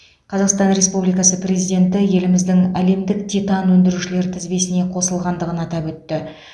қазақстан ресубликасы президенті еліміздің әлемдік титан өндірушілер тізбесіне қосылғандығын атап өтті